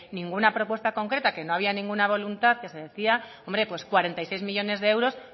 ninguna propuesta concreta que no había ninguna voluntad que se decía hombre pues cuarenta y tres millónes de euros